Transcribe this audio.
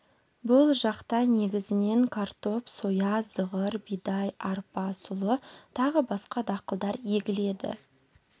бұл жақта негізінен картоп соя зығыр бидай арпа сұлы тағы басқа дақылдар егіледі